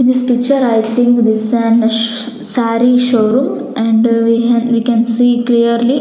In this picture I think this an saree showroom and we had we can see clearly.